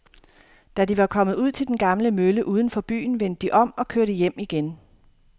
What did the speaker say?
Da de var kommet ud til den gamle mølle uden for byen, vendte de om og kørte hjem igen.